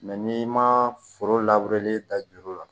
n'i ma foro da juru la